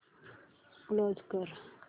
close कर